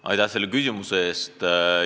Aitäh selle küsimuse eest!